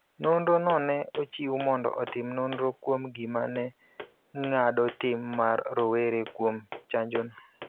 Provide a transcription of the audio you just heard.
Nonro no ne ochiw mondo otim nonro kuom gima ne ng�ado tim mar rowere kuom chanjono.